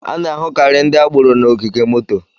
A na-ahụkari ndị agboro n'ogige moto.